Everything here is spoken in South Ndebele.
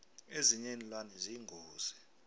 ezinye iinlwane ziyingozi